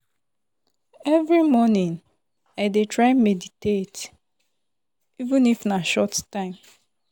every morning i dey try meditate — even if na short time.